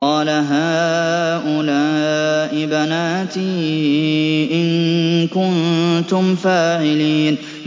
قَالَ هَٰؤُلَاءِ بَنَاتِي إِن كُنتُمْ فَاعِلِينَ